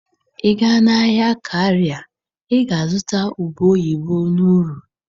Ị gaa na-ahịa Kara ị ga-azụta ube oyibo n'uru.